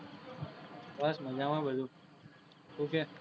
બસ મજા માં બધુ, તુ કે?